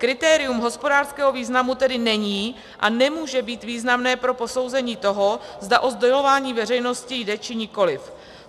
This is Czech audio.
Kritérium hospodářského významu tedy není a nemůže být významné pro posouzení toho, zda o sdělování veřejnosti jde, či nikoli.